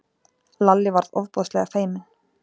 Lalli varð ofboðslega feiminn.